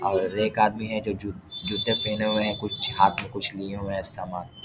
और एक आदमी है जो जू जूते पहने हुए हैं कुछ हाथ कुछ लिए हुए हैं सामान --